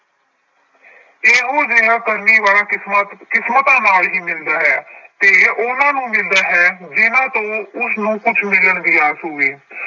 ਇਹੋ ਜਿਹਾ ਕਰਨੀ ਵਾਲਾ ਕਿਸਮਤ ਕਿਸਮਤਾਂ ਨਾਲ ਹੀ ਮਿਲਦਾ ਹੈ ਤੇ ਉਹਨਾਂ ਨੂੰ ਮਿਲਦਾ ਹੈ ਜਿਹਨਾਂ ਤੋਂ ਉਸਨੂੰ ਕੁੱਝ ਮਿਲਣ ਦੀ ਆਸ ਹੋਵੇ।